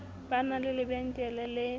ba na le lebenkele le